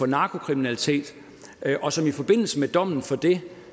narkokriminalitet og som i forbindelse med dommen for det